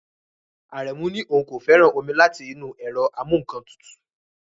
Aremu ní òun kò fẹ́ràn omi láti inú ẹ̀rọ amú-nǹkan-tutù